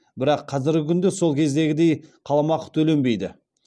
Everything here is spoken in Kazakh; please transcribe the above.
бірақ қазіргі күнде сол кездегідей қаламақы төленбейді